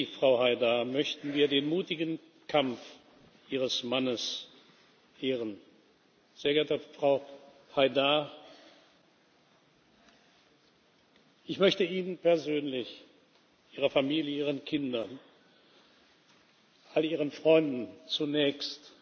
Durch Sie, Frau Haidar, möchten wir den mutigen Kampf Ihres Mannes ehren. Sehr geehrte Frau Haidar, ich möchte Ihnen persönlich, Ihrer Familie, Ihren Kindern, all Ihren Freunden zunächst